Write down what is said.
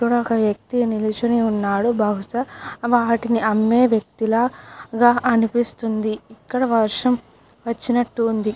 ఇక్కడ ఒక వ్యక్తి నిల్చొని ఉన్నాడు బహుశా వాటిని అమ్మే వ్యక్తుల గా అనిపిస్తుంది. ఇక్కడ వర్షం వచ్చినట్టుంది.